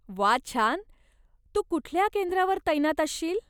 वा छान! तू कुठल्या केंद्रावर तैनात असशील?